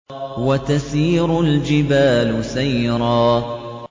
وَتَسِيرُ الْجِبَالُ سَيْرًا